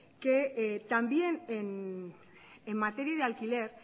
que también en materia de alquiler